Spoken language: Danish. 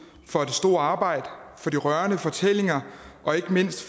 for det store arbejde og de rørende fortællinger fra ikke mindst